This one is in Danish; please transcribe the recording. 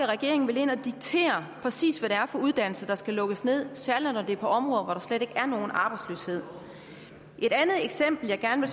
regeringen vil ind at diktere præcis hvad det er for uddannelser der skal lukkes ned særlig når det er på områder hvor der slet ikke er nogen arbejdsløshed et andet eksempel jeg gerne